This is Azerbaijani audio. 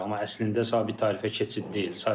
Amma əslində sabit tarifə keçid deyil.